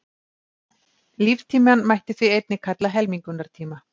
Líftímann mætti því einnig kalla helmingunartíma.